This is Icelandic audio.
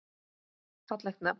Fallegt nafn.